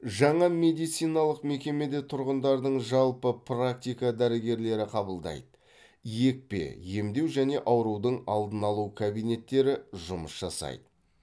жаңа медициналық мекемеде тұрғындардың жалпы практика дәрігерлері қабылдайды екпе емдеу және аурудың алдын алу кабинеттері жұмыс жасайды